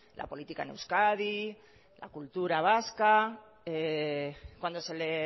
la política en euskadi la cultura vasca cuando se le